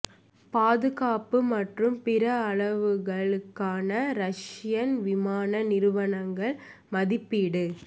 பாதுகாப்பு மற்றும் பிற அளவுருக்கள் க்கான ரஷியன் விமான நிறுவனங்கள் மதிப்பீடு